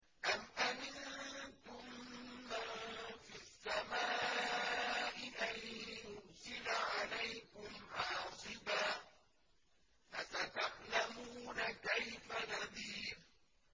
أَمْ أَمِنتُم مَّن فِي السَّمَاءِ أَن يُرْسِلَ عَلَيْكُمْ حَاصِبًا ۖ فَسَتَعْلَمُونَ كَيْفَ نَذِيرِ